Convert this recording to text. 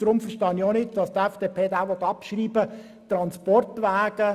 Deshalb verstehe ich auch nicht, weshalb die FDP die Abschreibung will.